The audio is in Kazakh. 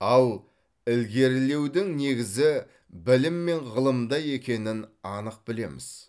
ал ілгерілеудің негізі білім мен ғылымда екенін анық білеміз